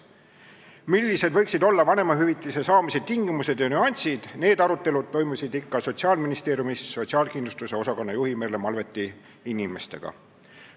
Millised võiksid olla vanemahüvitise saamise tingimused ja nüansid, need arutelud toimusid ikka Sotsiaalministeeriumis sotsiaalkindlustuse osakonna juhi Merle Malveti inimestega.